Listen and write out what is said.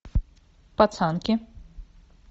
пацанки